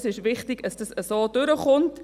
Es ist wichtig, dass das so durchkommt.